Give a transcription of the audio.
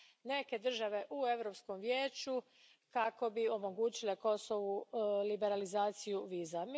neke države u Europskom vijeću kako bi omogućile Kosovu liberalizaciju viza.